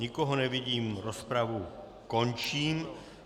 Nikoho nevidím, rozpravu končím.